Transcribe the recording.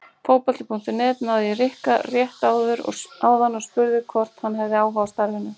Fótbolti.net náði í Rikka rétt áðan og spurði hvort hann hefði áhuga á starfinu?